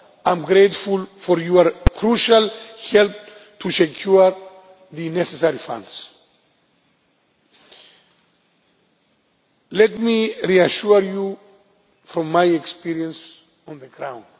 that. I am grateful for your crucial help to secure the necessary funds. Let me reassure you from my experience on the